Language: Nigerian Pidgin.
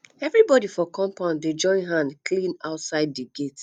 everybodi for compound dey join hand clean outside di gate